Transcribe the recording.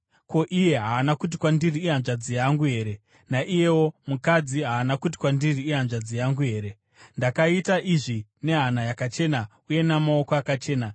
Ko, iye haana kuti kwandiri, ‘Ihanzvadzi yangu’ here, naiyewo mukadzi haana kuti kwandiri ‘Ihanzvadzi yangu’ here? Ndakaita izvi nehana yakachena uye namaoko akachena.”